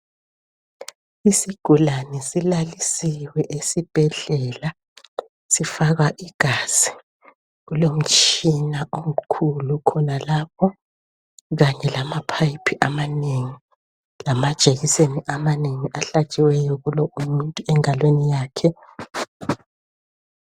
Isigulane silalisiwe esibhedlela sifakwa igazi. Kulomtshina omkhulu khonalapho kanye lama pipe amanengi lamajekiseni amanengi ahlatshiweyo kulomuntu engalweni yakhe